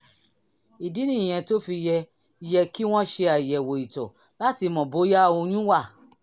ìdí nìyẹn tó fi yẹ yẹ kí wọ́n ṣe àyẹ̀wò ìtọ̀ láti mọ̀ bóyá oyún wà